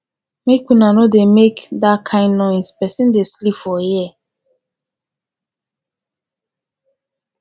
make una no dey make dat kin noise person dey sleep for here